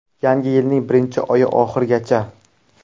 Yangi yilning birinchi oyi oxirigacha!